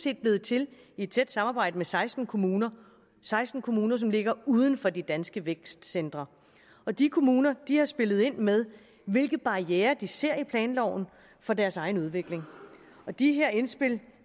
er blevet til i tæt samarbejde med seksten kommuner seksten kommuner som ligger uden for de danske vækstcentre og de kommuner har spillet ind med hvilke barrierer de ser i planloven for deres egen udvikling og de her indspil